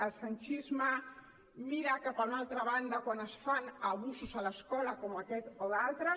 el sanchisme mira cap a una altra banda quan es fan abusos a l’escola com aquest o d’altres